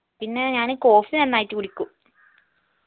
പിന്നെ ഞാൻ coffee നന്നായിട്ട് കുടിക്കും